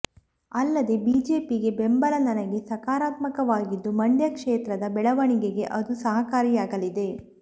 ಅಲ್ಲದೆ ಬಿಜೆಪಿಗೆ ಬೆಂಬಲ ನನಗೆ ಸಕಾರಾತ್ಮಕವಾಗಿದ್ದು ಮಂಡ್ಯ ಕ್ಷೇತ್ರದ ಬೆಳವಣಿಗೆಗೆ ಅದು ಸಹಕಾರಿಯಾಗಲಿದೆ